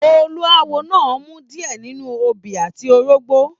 Olúáwo náà rmu diẹ nínú obi àti orógbọ.